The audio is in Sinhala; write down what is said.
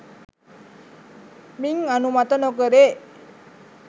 මින් අනුමත නොකෙරේ